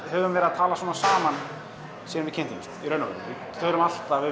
höfum verið að tala svona saman síðan við kynntumst í raun og veru við erum alltaf